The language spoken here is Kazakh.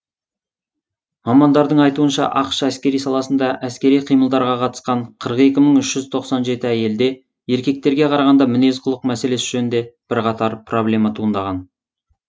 мамандардың айтуынша ақш әскери саласында әскери қимылдарға қатысқан қырық екі мың үш жүз тоқсан жеті әйелде еркектерге қарағанда мінез құлық мәселесі жөнінде бірқатар проблема туындаған